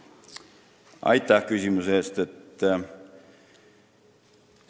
Aitäh küsimuse eest!